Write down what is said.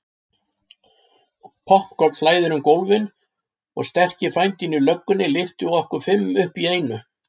Poppkorn flæðir um gólfin og sterki frændinn í löggunni lyftir okkur fimm upp í einu.